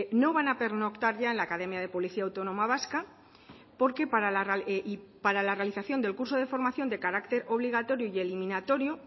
no van a pernoctar ya en la academia de policía autónoma vasca porque para la realización del curso de formación de carácter obligatorio y eliminatorio